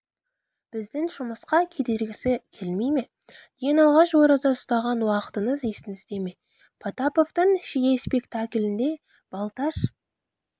біздің жұмысқа кедергісі келмей ме ең алғаш ораза ұстаған уақытыңыз есіңізде ме потаповтың шие спектаклінде балташ